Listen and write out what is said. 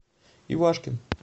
ивашкин